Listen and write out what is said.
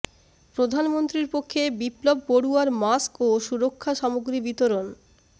প্রধানমন্ত্রীর পক্ষে বিপ্লব বড়ুয়ার মাস্ক ও সুরক্ষা সামগ্রী বিতরণ